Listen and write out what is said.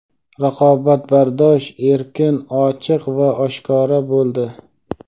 raqobatbardosh, erkin, ochiq va oshkora bo‘ldi;.